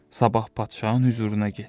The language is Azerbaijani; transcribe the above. Sabah padşahın hüzuruna getdi.